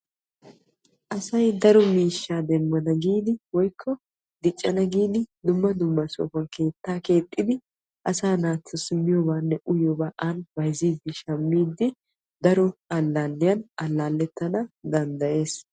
Asay daro miishsha demmanna woykko giidi dumma dumma sohuwan keetta keexiddi asaa naatussi miyobanne uyiyooba xayssidde alaalliya alaalettees.